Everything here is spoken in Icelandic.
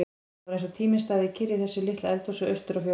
Það var eins og tíminn stæði kyrr í þessu litla eldhúsi austur á fjörðum.